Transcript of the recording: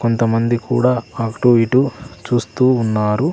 కొంతమంది కూడా అటూ ఇటూ చూస్తూ ఉన్నారు.